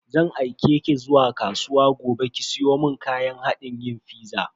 Zan aike ki zuwa kasuwa gobe ki siyo mun kayan hadin yin fiza.